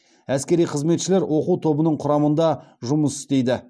әскери қызметшілер оқу тобының құрамында жұмыс істейді